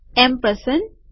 ampersand